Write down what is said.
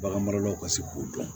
Bagan maralaw ka se k'o dɔn